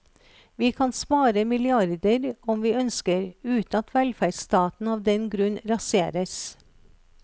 Vi kan spare milliarder om vi ønsker, uten at velferdsstaten av den grunn raseres.